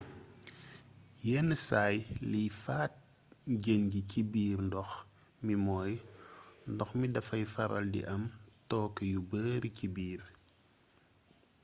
yenn saay liy faat jën yi ci biir ndox mi mooy ndox mi dafay faral di am tooke yu bari ci biir